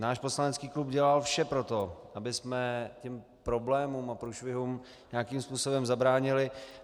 Náš poslanecký klub dělal vše pro to, abychom těm problémům a průšvihům nějakým způsobem zabránili.